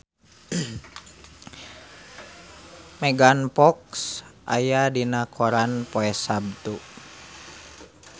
Megan Fox aya dina koran poe Saptu